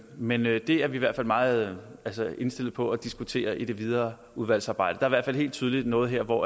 men det er vi i hvert fald meget indstillet på at diskutere i det videre udvalgsarbejde der er i hvert fald helt tydeligt noget her hvor